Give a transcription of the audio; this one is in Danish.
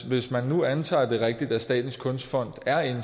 hvis man nu antager det er rigtigt at statens kunstfond